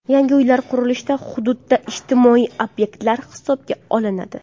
Yangi uylar qurilishida hududda ijtimoiy obyektlar hisobga olinadi.